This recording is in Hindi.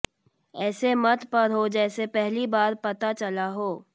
ऐसे मत पढ़ो जैसे पहली बार पता चला हो